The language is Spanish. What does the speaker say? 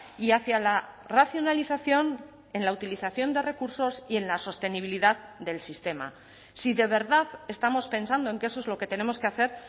y hacia la racionalización en la utilización de recursos y en la sostenibilidad del sistema si de verdad estamos pensando en que eso es lo que tenemos que hacer